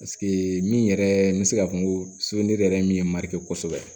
min yɛrɛ n bɛ se k'a fɔ n ko yɛrɛ min ye marikosɛbɛ